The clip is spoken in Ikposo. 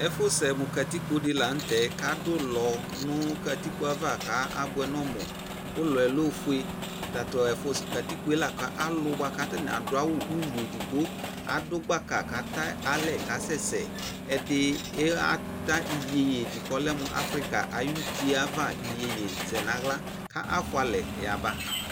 Ɛfosɛ mo katikpo de lantɛ kado ull no katikpo ava ka abuɛ nɔ mu Ulɔɛ lɛ ofue Tato ɛfo katikpoe la ka ali boa ka atane ado awu ulu edigbo ado gbaka kata alɛ kasɛsɛ Ɛde iha ta iyeye de kɔ lɛ mo Afrika ayutye ava iyeye zɛ nahla ka afua alɛ yaba